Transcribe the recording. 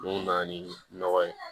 Mun na ni nɔgɔ ye